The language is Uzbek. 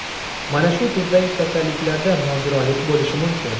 Mana shu turdagi kasalliklarda nogironlik bo‘lishi mumkin.